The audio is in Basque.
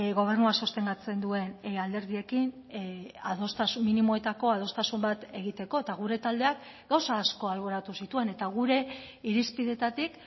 gobernua sostengatzen duen alderdiekin adostasun minimoetako adostasun bat egiteko eta gure taldeak gauza asko alboratu zituen eta gure irizpideetatik